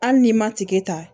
Hali n'i ma tigɛ ta